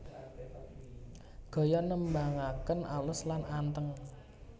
Gaya nembangaken alus lan anteng